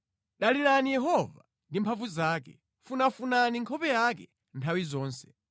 Dalirani Yehova ndi mphamvu zake; funafunani nkhope yake nthawi yonse.